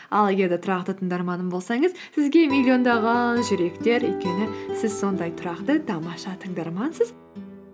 ал егер де тұрақты тыңдарманым болсаңыз сізге миллиондаған жүректер өйткені сіз сондай тұрақты тамаша тыңдармансыз